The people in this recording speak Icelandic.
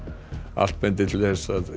allt bendir til þess að